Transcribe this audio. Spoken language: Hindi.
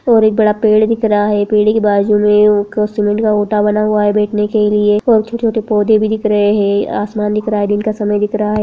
और एक बड़ा पेड़ दिख रहा है पेड़ के बाजू में एक सीमेंट का बना हुआ है बैठने के लिए और छोटे-छोटे पौधे भी दिख रहे हैं आसमान दिख रहा है दिन का समय दिख रहा है।